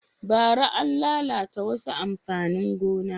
Bara, an lalata wasu amfanin gonan